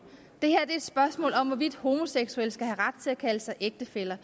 det her er et spørgsmål om hvorvidt homoseksuelle skal have ret til at kalde sig ægtefæller